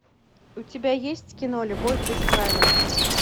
у тебя есть кино любовь без правил